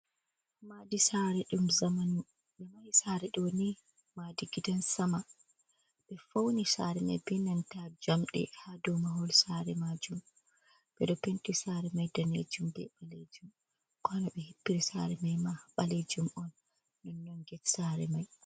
Nmadi sare dum zamanu. Bedo mahi sare do madi gidan sama. Be fauni sare mai benanta jamde. hadomahol sare majum be do penti sare mai danejum be balejum kolo be hippiri sare mai ma balejum on. non get sare mai.